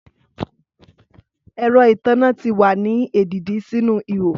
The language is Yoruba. Ẹrọ itanna ti wa ni edidi sinu iho